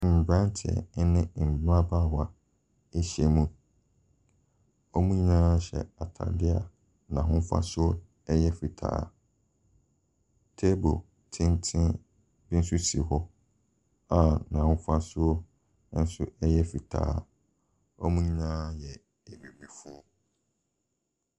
Mmranteɛ ne mmabaawa ɛhyia mu. Wɔn nyinaa hyɛ ataadeɛ a n'ahofasoɔ ɛyɛ fitaa. Table tenten nso si hɔ a n'ahofasoɔ ɛnso ɛyɛ fitaa. Wɔn nyinaa yɛ abibifoɔ.